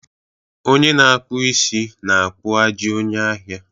Onye na-akpụ isi na-akpụ ajị onye ahịa